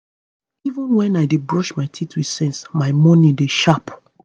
even when i dey brush my teeth with sense my morning dey sharp.